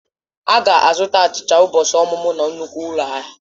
Ha ga-azụta achicha ụbọchị ọmụmụ na nnukwu ụlọ ahịa.